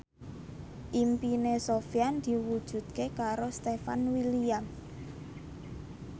impine Sofyan diwujudke karo Stefan William